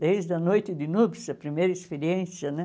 Desde a noite de núpcias, a primeira experiência, né?